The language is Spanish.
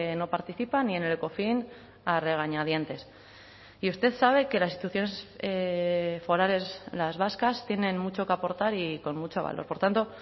no participan y en el ecofin a regañadientes y usted sabe que las instituciones forales las vascas tienen mucho que aportar y con mucho valor por tanto